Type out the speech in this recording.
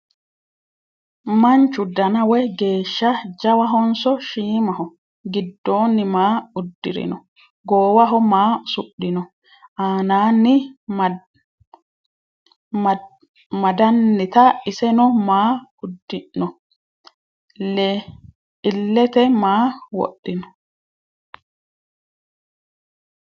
Manchu danna woyi geeshsha jawahonso shiimmaho? Gidoonni maa udirinno? Goowaho maa usudhinno? Anaanni madannitta isenno maa udi'nno? Ileette maa wodhinno?